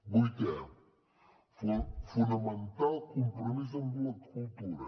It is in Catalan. vuitè fomentar el compromís amb la cultura